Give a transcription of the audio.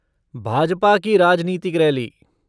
भाजपा की राजनीतिक रैली।